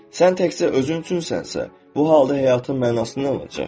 Sən təkcə özün üçünsənsə, bu halda həyatın mənası nə olacaq?